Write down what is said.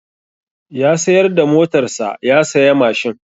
Ya sayar da motar sa ya saya mashin.